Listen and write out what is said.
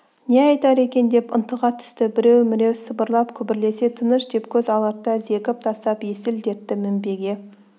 не айтар екен деп ынтыға түсті біреу-міреу сыбырлап-күбірлесе тыныш деп көз аларта зекіп тастап есіл-дерті мінбеге